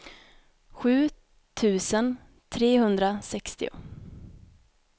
sju tusen trehundrasextio